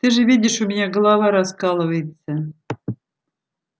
ты же видишь у меня голова раскалывается